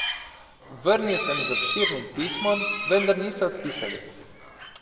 Vrnil sem z obširnim pismom, vendar niso odpisali.